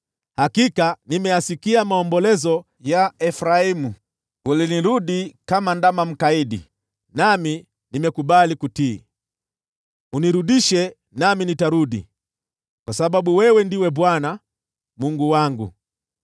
“Hakika nimeyasikia maombolezo ya Efraimu: ‘Ulinirudi kama ndama mkaidi, nami nimekubali kutii. Unirudishe, nami nitarudi, kwa sababu wewe ndiwe Bwana , Mungu wangu.